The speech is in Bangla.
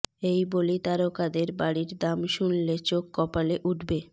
এই বলি তারকাদের বাড়ির দাম শুনলে চোখ কপালে উঠবে